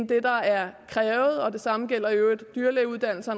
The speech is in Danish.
det der er krævet og det samme gælder i øvrigt dyrlægeuddannelsen